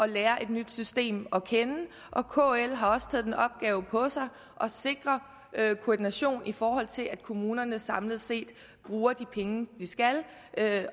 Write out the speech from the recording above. lære et nyt system at kende og kl har også taget den opgave på sig at sikre koordination i forhold til at kommunerne samlet set bruger de penge de skal